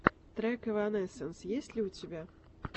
трек эванесенс есть ли у тебя